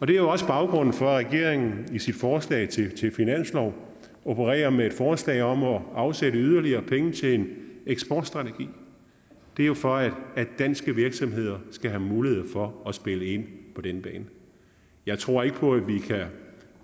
det er jo også baggrunden for at regeringen i sit forslag til finanslov opererer med et forslag om at afsætte yderligere penge til en eksportstrategi det er jo for at danske virksomheder skal have mulighed for at spille ind på den bane jeg tror ikke på at vi kan